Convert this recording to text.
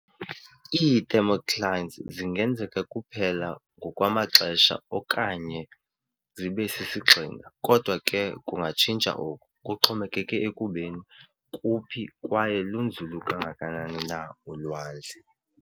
Ii-Thermoclines zingenzeka kuphela ngokwamaxesha onyaka okanye zibe sisigxina, kodwa ke kungatshintsa oku, kuxhomekeke ekubeni kuphi kwaye lunzulu kangakanani na ulwandle.